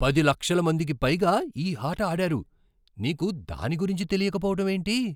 పది లక్షల మందికి పైగా ఈ ఆట ఆడారు. నీకు దాని గురించి తెలియక పోవటం ఏంటి?